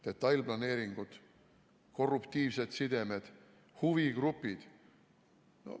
Detailplaneeringud, korruptiivsed sidemed, huvigrupid.